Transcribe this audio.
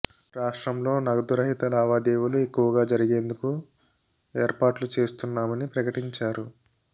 రాష్ర్టంలో నగదు రహిత లావాదేవీలు ఎక్కువగా జరిగేందుకు ఏర్పాట్లు చేస్తున్నామని ప్రకటించారు